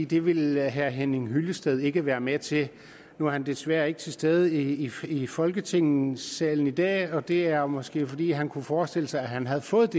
det ville herre henning hyllested ikke være med til nu er han desværre ikke til stede i i folketingssalen i dag og det er måske fordi han kunne forestille sig at han havde fået